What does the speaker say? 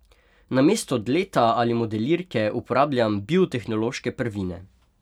Namesto dleta ali modelirke uporabljam biotehnološke prvine.